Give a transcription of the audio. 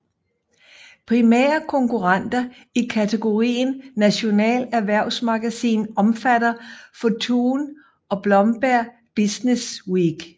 Primære konkurrenter i kategorien national erhvervsmagasin omfatter Fortune og Bloomberg Businessweek